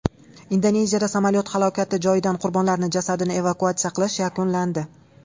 Indoneziyada samolyot halokati joyidan qurbonlarning jasadini evakuatsiya qilish yakunlandi.